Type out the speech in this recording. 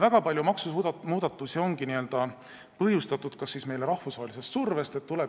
Väga paljud maksumuudatused on põhjustatud rahvusvahelisest survest.